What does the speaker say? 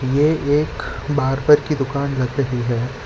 ये एक बार्बर की दुकान लग रहीं हैं।